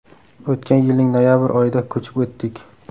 O‘tgan yilning noyabr oyida ko‘chib o‘tdik.